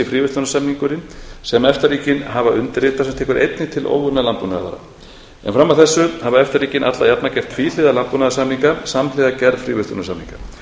fríverslunarsamningurinn sem efta ríkin hafa undirritað sem tekur einnig til óunninna landbúnaðarvara en fram að þessu hafa efta ríkin alla jafna gert tvíhliða landbúnaðarsamninga samhliða gerð fríverslunarsamninga